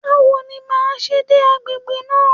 Báwo ni màá ṣe dé agbègbè náà?